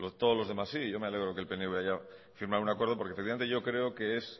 todos los demás sí y yo me alegro que el pnv haya firmado un acuerdo porque efectivamente yo creo que es